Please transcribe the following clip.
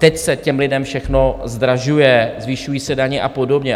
Teď se těm lidem všechno zdražuje, zvyšují se daně a podobně.